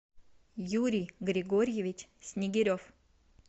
юрий григорьевич снегирев